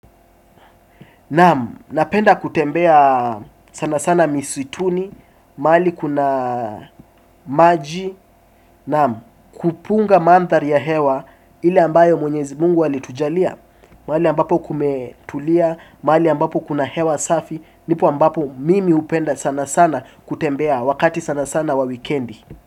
Naam, napenda kutembea sana sana misituni, mahali kuna maji, naam, kupunga mandhari ya hewa ile ambayo mwenyezi mungu alitujalia, mahali ambapo kumetulia, mahali ambapo kuna hewa safi, nipo ambapo mimi hupenda sana sana kutembea wakati sana sana wa wikendi.